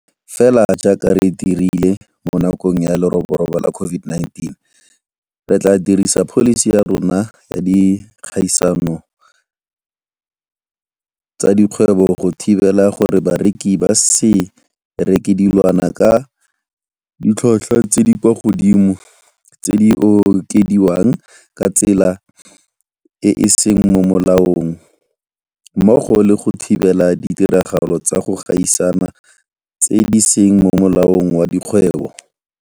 Fela jaaka re dirile mo nakong ya leroborobo la COVID-19, re tla dirisa pholisi ya rona ya dikgaisano tsa dikgwebo go thibela gore bareki ba se reke dilwana ka ditlhotlhwa tse di kwa godimo tse di okediwang ka tsela e e seng mo molaong mmogo le go thibela ditiragalo tsa go gaisana tse di seng mo molaong wa dikgwebo.